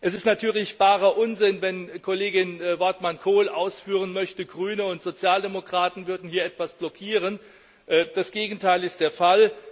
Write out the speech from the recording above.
Es ist natürlich barer Unsinn, wenn Kollegin Wortmann Kool ausführen möchte, Grüne und Sozialdemokraten würden hier etwas blockieren. Das Gegenteil ist der Fall!